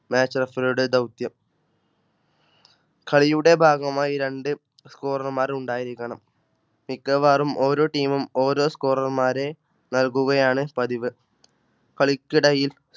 Match Rafory യുടെ ദൗത്യം കളിയുടെ ഭാഗമായി രണ്ട് Score മാർഉണ്ടായിരിക്കണം മിക്കവാറും ഓരോ Team മുംഓരോ Score റർ മാരെനൽകുകയാണ് പതിവ്. കളിക്കിടയിൽ